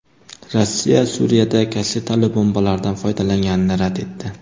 Rossiya Suriyada kassetali bombalardan foydalanganini rad etdi.